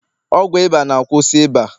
ọgwụ ịba na- kwusi ịba